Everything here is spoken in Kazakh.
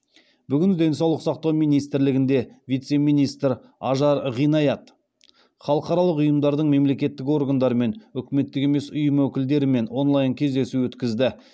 бүгін денсаулық сақтау министрлігінде вице министр ажар ғинаят халықаралық ұйымдардың мемлекеттік органдар мен үкіметтік емес ұйым өкілдерімен онлайн кездесу өткізді